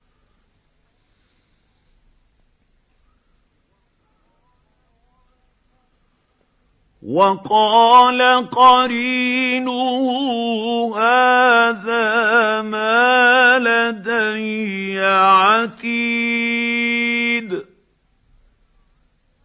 وَقَالَ قَرِينُهُ هَٰذَا مَا لَدَيَّ عَتِيدٌ